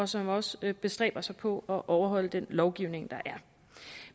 som også bestræber sig på at overholde den lovgivning der er